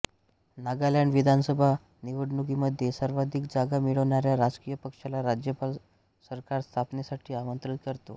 नागालॅंड विधानसभा निवडणुकीमध्ये सर्वाधिक जागा मिळवणाऱ्या राजकीय पक्षाला राज्यपाल सरकारस्थापनेसाठी आमंत्रित करतो